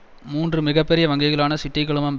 மூன்று மிக பெரிய வங்கிகளான சிட்டி குழுமம் பாங்க் ஆப்